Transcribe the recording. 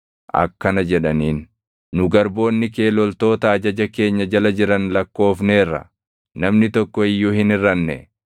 akkana jedhaniin; “Nu garboonni kee loltoota ajaja keenya jala jiran lakkoofneerra; namni tokko iyyuu hin hirʼanne.